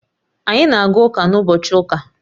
Anyị na-aga ụka n'ụbochị ụka